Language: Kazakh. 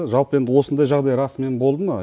жалпы енді осындай жағдай расымен болды ма